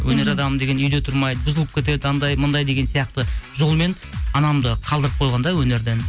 өнер адамы деген үйде отырмайды бұзылып кетеді анандай мынандай деген сияқты жолмен анамды қалдырып қойған да өнерден